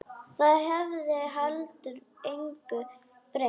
Það hefði heldur engu breytt.